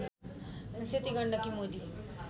Seti Gandaki Modi